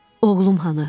Oğlum hanı?